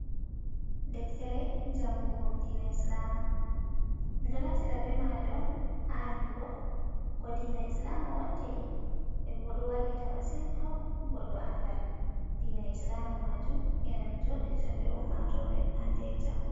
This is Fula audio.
Deftere jangugo diina Islama, ɗon naftira be maare on ha andugo ko diina Islama woniri, nden ɗon wallita masin ha hokkumo goɗɗo andal diina Islama majum, ena no joɗirta be ummatore hannde e jango.